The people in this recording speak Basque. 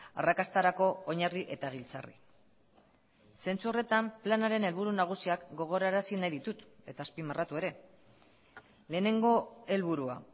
arrakastarako oinarri eta giltzarri zentsu horretan planaren helburu nagusiak gogorarazi nahi ditut eta azpimarratu ere lehenengo helburua